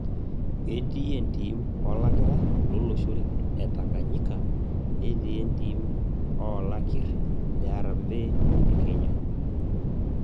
Ketii entim olakira lolosho etanganyika netii entim oolakirr le Harmbee le kenya